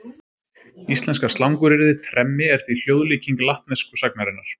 Íslenska slanguryrðið tremmi er því hljóðlíking latnesku sagnarinnar.